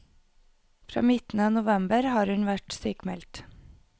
Fra midten av november har hun vært sykmeldt.